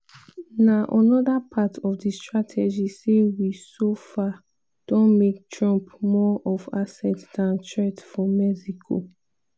na anoda part of di strategy say we so far don make trump more of asset dan threat for mexico.